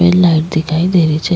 एक लाइट दिखाई दे रही छे।